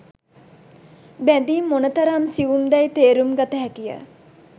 බැදීම් මොනතරම් සියුම් දැයි තේරුම් ගත හැකිය.